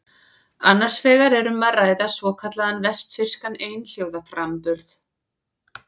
Annars vegar er um að ræða svokallaðan vestfirskan einhljóðaframburð.